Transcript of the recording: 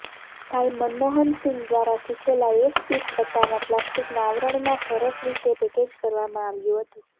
ભાઈ મનમોહનસિંહ દ્વારા શીખેલા એક કિટ પટ્ટામાં પ્લાસ્ટિકના આવરણમાં સરસ રીતે પેકેજ કરવામાં આવ્યું હતું